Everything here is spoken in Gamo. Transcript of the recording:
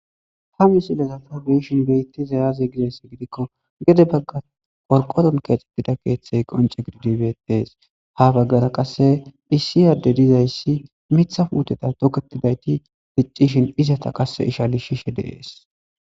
ha musilezafa beyishin beyitti zayaze gizayssi gidikko gede bagga qorqoron keexetida keeththey qonce gididibetees ha baggara qasse issi yaadde dizayssi mitha puuteta toketidayti ficcishin izata qasse ishali shishe deees